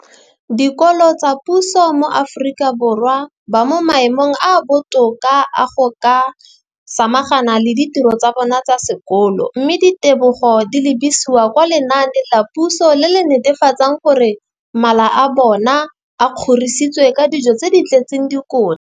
Dikolo tsa puso mo Aforika Borwa ba mo maemong a a botoka a go ka samagana le ditiro tsa bona tsa sekolo, mme ditebogo di lebisiwa kwa lenaaneng la puso le le netefatsang gore mala a bona a kgorisitswe ka dijo tse di tletseng dikotla.